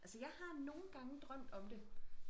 Altså jeg har nogen gange drømt om det